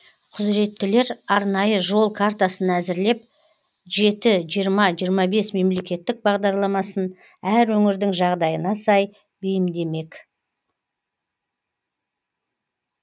құзыреттілер арнайы жол картасын әзірлеп жеті жиырма жиырма бес мемлекеттік бағдарламасын әр өңірдің жағдайына сай бейімдемек